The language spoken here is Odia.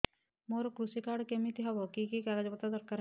ମୋର କୃଷି କାର୍ଡ କିମିତି ହବ କି କି କାଗଜ ଦରକାର ହବ